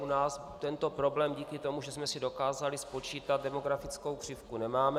U nás tento problém díky tomu, že jsme si dokázali spočítat demografickou křivku, nemáme.